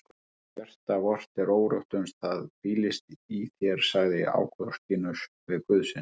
Hjarta vort er órótt uns það hvílist í þér sagði Ágústínus við Guð sinn.